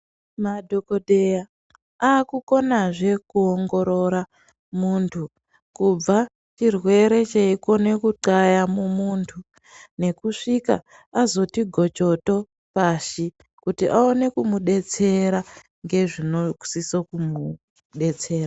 Madhokodheya akukonazve kuongorora muntu kubva chirwere cheikone kuthaya mumuntu nekusvika azoti gochoto pashi kuti aone kumudetsera ngezvinosiso kumudetsera.